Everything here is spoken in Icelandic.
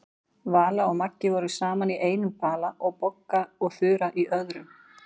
Vala og Maja voru saman í einum bala og Bogga og Þura í öðrum.